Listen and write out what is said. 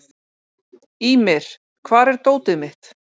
Ýmir, hvar er dótið mitt?